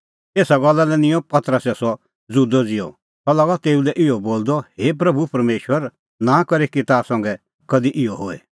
एसा गल्ला लै निंयं पतरसै सह ज़ुदअ ज़िहअ सह लागअ तेऊ लै इहअ बोलदअ हे प्रभू परमेशर नां करे कि ताह संघै कधि इहअ होए